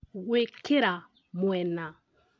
Gwĩkĩra mwena